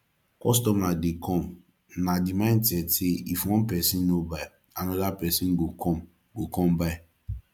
customer dey come na di mindset sey if one person no buy anoda person go come go come buy